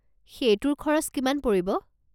সেইটোৰ খৰচ কিমান পৰিব?